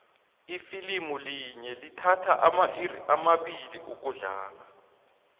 ifilimu linye lithatha amairi amabili ukudlala